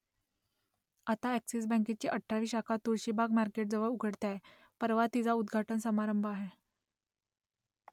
आता अ‍ॅक्सिस बँकेची अठरावी शाखा तुळशीबाग मार्केटजवळ उघडते आहे परवा तिचा उद्घाटन समारंभ आहे